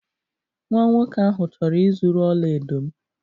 Nwa nwoke ahụ chọrọ ịzuru ọla edo m.